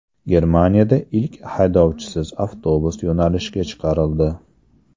Germaniyada ilk haydovchisiz avtobus yo‘nalishga chiqarildi.